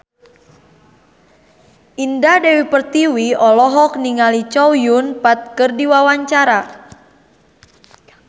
Indah Dewi Pertiwi olohok ningali Chow Yun Fat keur diwawancara